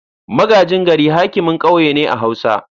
Magajin gari hakimin kauye ne a hausa.